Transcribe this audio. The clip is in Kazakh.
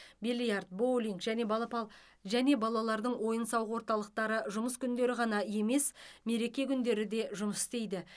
бильярд боулинг және балапал және балалардың ойын сауық орталықтары жұмыс күндері ғана емес мереке күндері де жұмыс істейді